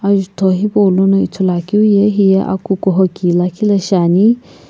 azuto hepo lono ithulu akeu ye hiye akukuho ki liikhi lii Shane.